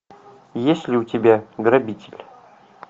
есть ли у тебя грабитель